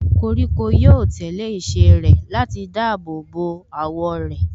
Koríko yóò tẹ̀lé ìṣe rẹ̀ láti dáàbò bo àwọ̀ rẹ̀.